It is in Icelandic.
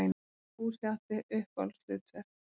Fúsi átti sér uppáhaldshlutverk.